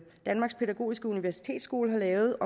danmarks pædagogiske universitetsskole har lavet